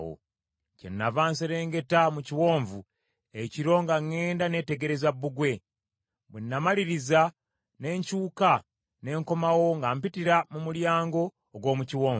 Kyennava nserengeta mu kiwonvu ekiro nga ŋŋenda neetegereza bbugwe. Bwe namaliriza ne nkyuka ne nkomawo nga mpitira mu Mulyango ogw’omu Kiwonvu.